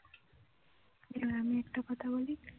এবার আমি একটা কথা বলি